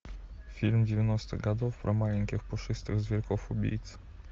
фильм девяностых годов про маленьких пушистых зверьков убийц